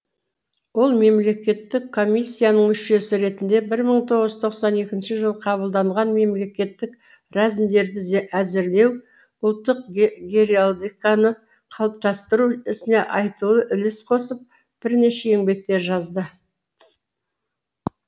ол мемлекеттік комиссияның мүшесі ретінде бір мың тоғыз жүз тоқсан екінші жылы қабылданған мемлекеттік рәзімдерді әзірлеу ұлттық геральдиканы қалыптастыру ісіне айтулы үлес қосып бірнеше еңбектер жазды